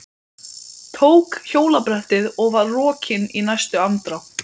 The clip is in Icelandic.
Tók hjólabrettið og var rokinn í næstu andrá.